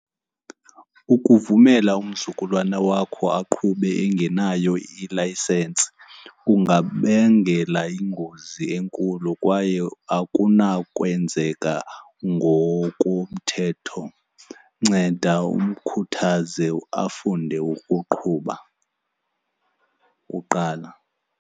Ukuvumela umzukulwana wakho aqhube engenayo ilayisensi kungabangela iingozi enkulu kwaye akunakwenzeka ngokomthetho. Nceda umkhuthaze afunde ukuqhuba kuqala.